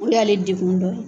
O le y'ale dekun dɔ ye.